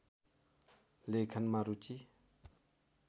लेखनमा रुचि